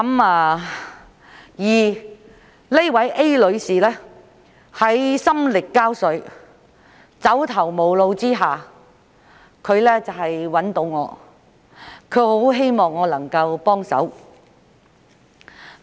A 女士心力交瘁、走投無路，於是便來找我，希望我能幫忙。